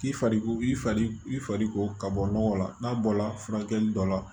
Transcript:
K'i fari i fari ko ka bɔ nɔgɔ la n'a bɔla furakɛli dɔ la